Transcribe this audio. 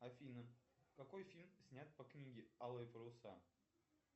афина какой фильм снят по книге алые паруса